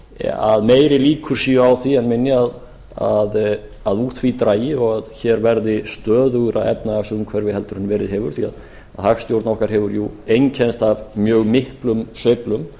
að meiri líkur séu á því en minni að úr því dragi og hér verði stöðugra efnahagsumhverfi heldur en verið hefur því hagstjórn okkar hefur einkennst af mjög miklum sveiflum